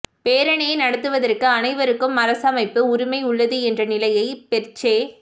பேரணியை நடத்துவதற்கு அனைவருக்கும் அரசமைப்பு உரிமை உள்ளது என்ற நிலையை பெர்சே